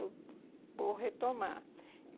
Eu vou retomar.